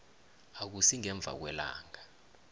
akusi ngemva kwelanga